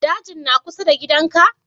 Dajin na kusa da gidan ka?